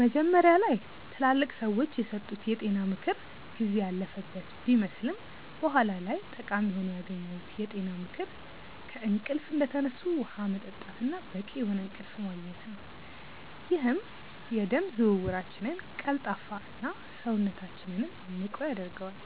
መጀመሪያ ላይ ትላልቅ ሰዎች የሰጡት የጤና ምክር ጊዜ ያለፈበት ቢመስልም በኋላ ላይ ጠቃሚ ሆኖ ያገኘሁት የጤና ምክር ከእንቅልፍ እንደተነሱ ውሃ መጠጣት እና በቂ የሆነ እንቅልፍ ማግኘት ነው፤ ይህም የደም ዝውውራችንን ቀልጣፋ እና፣ ሰውነታችንንም ንቁ ያደርገዋል።